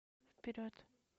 вперед